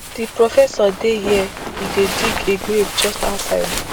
di professor dey here e dey dig a grave just outside